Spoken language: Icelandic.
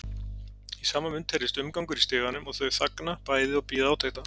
Í sama mund heyrist umgangur í stiganum og þau þagna bæði og bíða átekta.